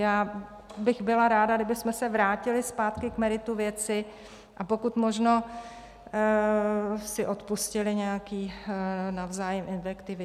Já bych byla ráda, kdybychom se vrátili zpátky k meritu věci a pokud možno si odpustili nějaké navzájem invektivy.